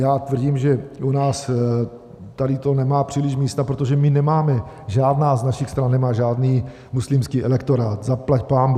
Já tvrdím, že u nás tady to nemá příliš místa, protože my nemáme, žádná z našich stran nemá žádný muslimský elektorát - zaplať pánbůh.